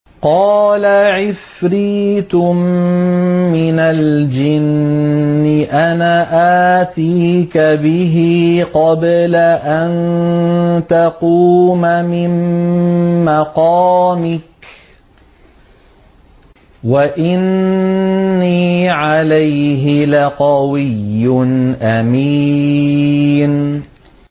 قَالَ عِفْرِيتٌ مِّنَ الْجِنِّ أَنَا آتِيكَ بِهِ قَبْلَ أَن تَقُومَ مِن مَّقَامِكَ ۖ وَإِنِّي عَلَيْهِ لَقَوِيٌّ أَمِينٌ